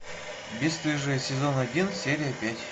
бесстыжие сезон один серия пять